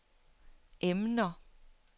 emner